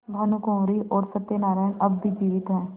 भानुकुँवरि और सत्य नारायण अब भी जीवित हैं